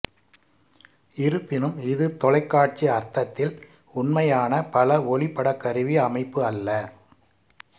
இருப்பினும் இது தொலைக்காட்சி அர்த்தத்தில் உண்மையான பல ஒளிப்படக்கருவி அமைப்பு அல்ல